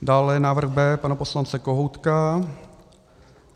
Dále návrh B pana poslance Kohoutka.